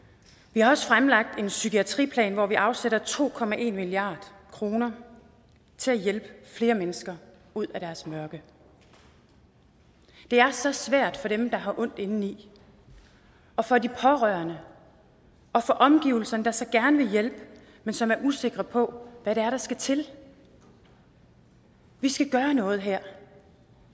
vi har også fremlagt en psykiatriplan hvor vi afsætter to milliard kroner til at hjælpe flere mennesker ud af deres mørke det er så svært for dem der har ondt indeni og for de pårørende og for omgivelserne der så gerne vil hjælpe men som er usikre på hvad det er der skal til vi skal gøre noget her